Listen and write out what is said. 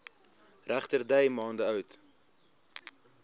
regterdy maande oud